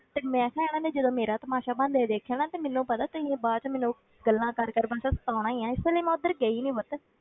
ਤੇ ਮੈਂ ਕਿਹਾ ਇਹਨਾਂ ਨੇ ਜਦੋਂ ਮੇਰਾ ਤਮਾਸ਼ਾ ਬਣਦੇ ਦੇਖਿਆ ਨਾ, ਤੇ ਮੈਨੂੰ ਪਤਾ ਤੁਸੀਂ ਬਾਅਦ ਵਿੱਚ ਮੈਨੂੰ ਗੱਲਾਂ ਕਰ ਕਰ ਬਸ ਸਤਾਉਣਾ ਹੀ ਹੈ, ਇਸ ਲਈ ਮੈਂ ਉੱਧਰ ਗਈ ਨੀ ਬਸ